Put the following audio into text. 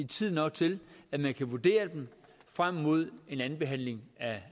tidsnok til at man kan vurdere dem frem mod en andenbehandling